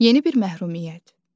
Yeni bir məhrumiyyət.